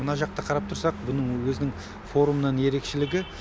мына жақта қарап тұрсақ бұның өзінің форумнан ерекшелігі